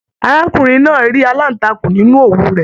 Arákùnrin náà rí aláǹtakùn nínú òwú rẹ̀